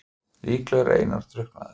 Líklega er Einar drukknaður.